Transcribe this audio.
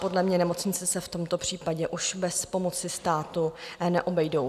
Podle mě nemocnice se v tomto případě už bez pomoci státu neobejdou.